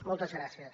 moltes gràcies